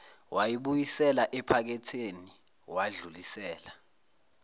wayibuyisela ephaketheni wadlulisela